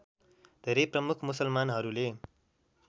धेरै प्रमुख मुसलमानहरूले